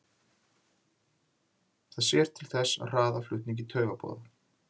Það sér til þess að hraða flutningi taugaboða.